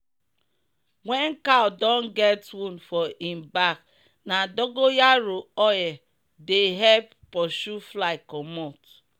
wen cow don get wound for im bak na dogon yaro oil dey epp pursue fly commot.